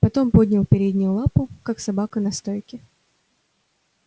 потом поднял переднюю лапу как собака на стойке